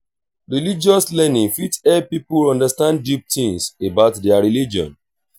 religious learning fit help pipo understand deep things about their religion